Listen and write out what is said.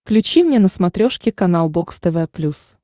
включи мне на смотрешке канал бокс тв плюс